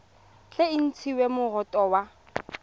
tle e ntshiwe moroto wa